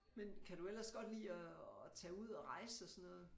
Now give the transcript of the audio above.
Men kan du ellers godt lide at at tage ud og rejse og så noget